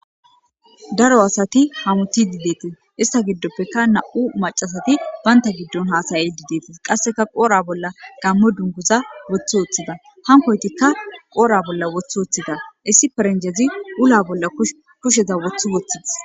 Daro asat hamutid detes, ista gidoppeka 2 asat banta hasa'ashe dosona. Qaseka qodha bolla gaamo dunguza wothi wothida , hankoytika wothi wothida, issi perenjez ulla bolla kusheza wothi wothides.